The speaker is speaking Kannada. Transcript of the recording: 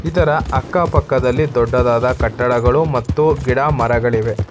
ಇದರ ಅಕ್ಕಪಕ್ಕದಲ್ಲಿ ದೊಡ್ಡದಾದ ಕಟ್ಟಡಗಳು ಮತ್ತೆ ಗಿಡಮರಗಳಿವೆ.